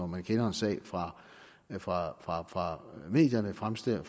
man kender en sag fra fra medierne fremstår